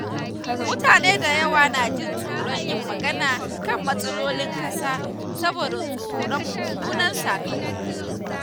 Mutane da yawa na jin tsoron yin magana kan matsalolin ƙasa saboda tsoron mummunan sakamako.